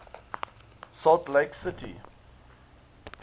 salt lake city